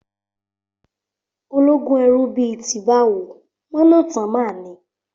Ológúnẹrú bí i ti báwo? Mọ̀nátán máa ni.